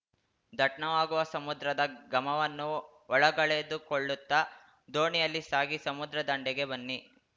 ದಟ್ನವಾಗುವ ಸಮುದ್ರದ ಘಮವನ್ನು ಒಳಗೆಳೆದುಕೊಳ್ಳುತ್ತಾ ದೋಣಿಯಲ್ಲಿ ಸಾಗಿ ಸಮುದ್ರ ದಂಡೆಗೆ ಬನ್ನಿ